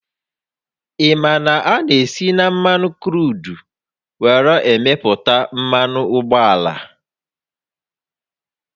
Ị ma na a na-esi na mmanụ kruudu were emeputa mmanụ ụgbọala?